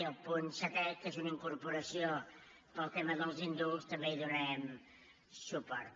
i al punt setè que és una incorporació pel tema dels indults també hi donarem suport